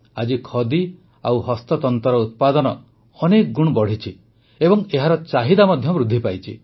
ଆଜି ଖଦି ଓ ହସ୍ତତନ୍ତର ଉତ୍ପାଦନ ଅନେକ ଗୁଣ ବଢ଼ିଛି ଏବଂ ଏହାର ଚାହିଦା ମଧ୍ୟ ବୃଦ୍ଧି ପାଇଛି